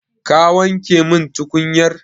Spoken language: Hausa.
Ka wanke min tukunyar?